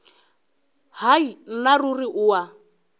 hai nna ruri o a